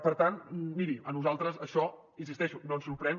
per tant miri a nosaltres això hi insisteixo no ens sorprèn